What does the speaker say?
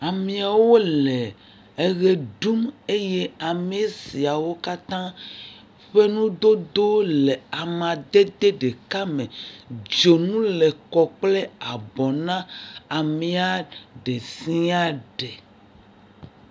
Ameawo le eʋe ɖum eye ame siawo katã ƒe nudodowo le amadede ɖeka me. Dzonu le kɔ kple abɔ na amee ɖe sia ɖe.